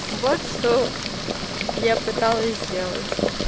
вот что я пыталась сделать